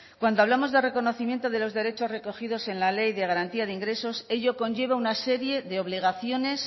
cuando hablamos de reconocimiento de los derechos recogidos en la ley de garantía de ingresos ello conlleva una serie de obligaciones